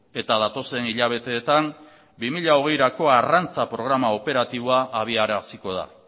eta datozen hilabeteetan bi mila hogeirako arrantza programa operatiboa abiaraziko da